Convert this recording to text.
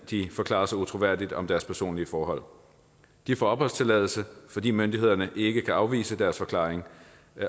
de forklarer sig utroværdigt om deres personlige forhold de får opholdstilladelse fordi myndighederne ikke kan afvise deres forklaring